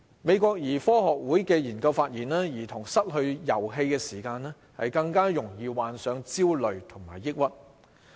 美國兒科學會的研究發現，兒童失去遊戲時間，更易患上焦慮和抑鬱。